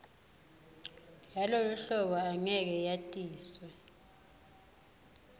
yaloluhlolo angeke yatiswe